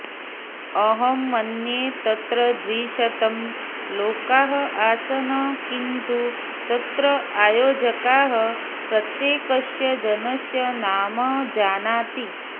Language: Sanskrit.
अहं मन्ये तत्र द्विशतं लोकाः आसन् किन्तु तत्र आयोजकाः प्रत्येकस्य जनस्य नाम जानाति